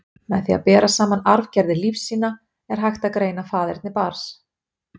Með því að bera saman arfgerðir lífsýna, er hægt að greina faðerni barns.